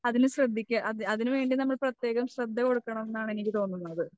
അതിന് ശ്രദ്ധിക്കുക അത് അതിനുവേണ്ടി നമ്മൾ പ്രത്യേകം ശ്രദ്ധ കൊടുക്കണംന്നാണ് എനിക്ക് തോന്നുന്നത്.